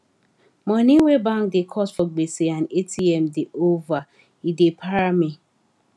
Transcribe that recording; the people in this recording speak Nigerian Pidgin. money wey bank da cut for gbese and atm da over e da para me